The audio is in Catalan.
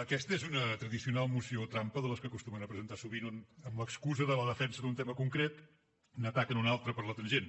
aquesta és una tradicional moció trampa de les que acostumen a presentar sovint on amb l’excusa de la defensa d’un tema concret n’ataquen un altre per la tangent